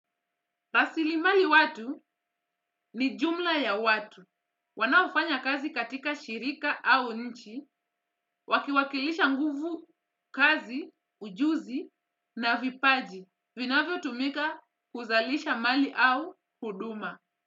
Tasilimali watu, ni jumla ya watu. Wanaofanya kazi katika shirika au nchi, wakiwakilisha nguvu kazi, ujuzi na vipaji. Vinavyotumika kuzalisha mali au huduma.